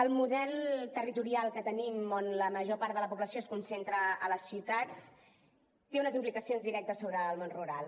el model territorial que tenim on la major part de la població es concentra a les ciutats té unes implicacions directes sobre el món rural